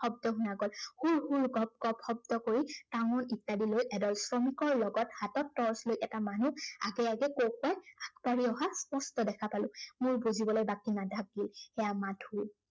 শব্দ শুনা গল। হুৰ হুৰ, গপ গপ শব্দ কৰি, টাঙোন ইত্য়াদি লৈ এদল শ্ৰমিকৰ লগত হাতত torch লৈ এটা মানুহ আগে আগে আগবাঢ়ি অহা স্পষ্ট দেখা পোলা। মোৰ বুজিবলৈ বাকী নাথাকিল, সেইয়া মাধু।